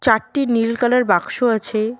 চারটি নীল কালার বাক্স আছে।